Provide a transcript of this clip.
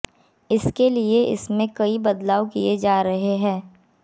इसके लिए इसमें कई बदलाव किए जा रहे हैं